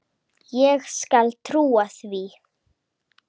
Ég skal trúa því.